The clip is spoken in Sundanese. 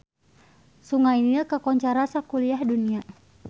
Sungai Nil kakoncara sakuliah dunya